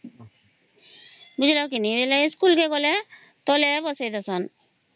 ବୁଝିଲ କି ନାଇଁ ଇ ସ୍କୁଲ କୁ ଗଲେ ତଳେ ବସେଇ ଦିଅନ୍ତି